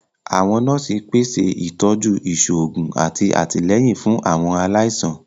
Àwọn nọọsi pese itọju iṣoogun ati atilẹyin fun Àwọn alaisan.